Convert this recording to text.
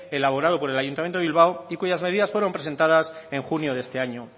elaborado por el ayuntamiento de bilbao y cuyas medidas fueron presentadas en junio de este año